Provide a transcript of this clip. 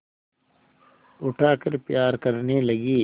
उठाकर प्यार करने लगी